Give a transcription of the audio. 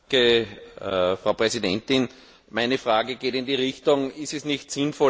Meine Frage geht in die Richtung Ist es nicht sinnvoll, Arbeitslosigkeit überhaupt zu verhindern?